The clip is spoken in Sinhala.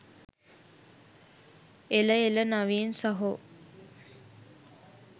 එල එල නවීන් සහෝ